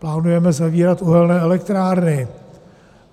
Plánujeme zavírat uhelné elektrárny.